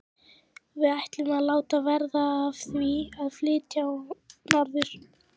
Við ætlum að láta verða af því að flytjast norður.